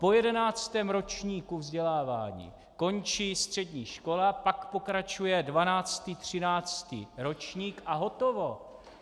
Po jedenáctém ročníku vzdělávání končí střední škola, pak pokračuje dvanáctý, třináctý ročník a hotovo.